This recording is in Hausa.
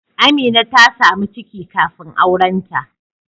Amina ta samu ciki kafin aurenta